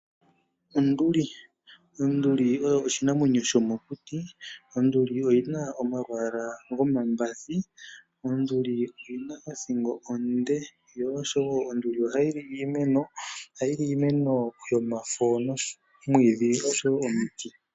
Onduli, Onduli oyo oshinamwanyo shomokuti. Onduli oyi na omalwaala gomambathi. Onduli oyi na othingo onde, yo oshowo onduli ohayi li iimeno. Ohayi li iimeno yomafo noshowo omwiidhi oshowo omiti.